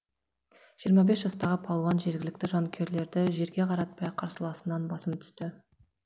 жиырма бес жастағы палуан жергілікті жанкүйерлерді жерге қаратпай қарсыласынан басым түсті